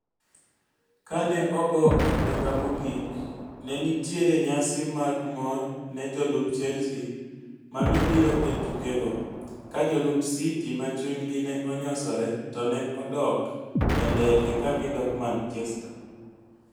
Kane ogo openga mogik, nenitiere nyasi mag mor ne jolup Chelsea ma nobiro e tukego, ka jolup City ma chunygi ne onyosore to ne odok e ndege ka gidok Manchester.